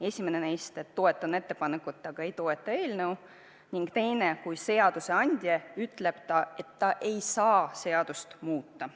Esimene neist on, et ma toetan ettepanekut, aga ei toeta eelnõu, ning teine on, kui seadusandja ütleb, et ta ei saa mõnda seadust muuta.